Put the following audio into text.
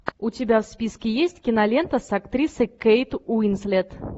у тебя в списке есть кинолента с актрисой кейт уинслет